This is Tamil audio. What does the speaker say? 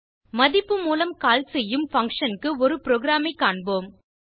மதிப்பு மூலம் கால் செய்யும் பங்ஷன் க்கு ஒரு புரோகிராம் ஐ காண்போம்